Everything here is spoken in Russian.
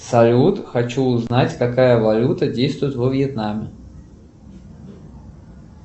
салют хочу узнать какая валюта действует во вьетнаме